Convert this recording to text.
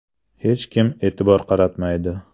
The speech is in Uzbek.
Hech kim e’tibor qaratmaydi.